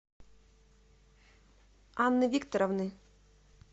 анны викторовны